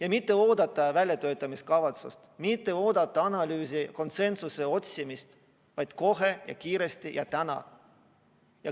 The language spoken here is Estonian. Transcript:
Ei maksa oodata väljatöötamiskavatsust, ei maksa oodata analüüsi ja konsensuse otsimist, midagi tuleb teha kohe ja kiiresti, täna.